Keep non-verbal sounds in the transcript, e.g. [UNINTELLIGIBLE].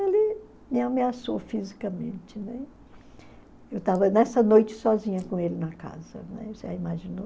Ele me ameaçou fisicamente, né? Eu estava nessa noite sozinha com ele na casa [UNINTELLIGIBLE] você imaginou?